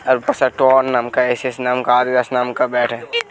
नाम का एसएस नाम ये बेट है ये --